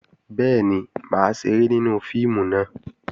Bẹ́ẹ̀ni, mà á ṣeré nínú fíìmù náà